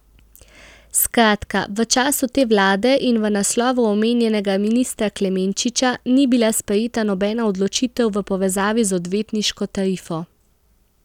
Skratka, v času te vlade in v naslovu omenjenega ministra Klemenčiča ni bila sprejeta nobena odločitev v povezavi z odvetniško tarifo.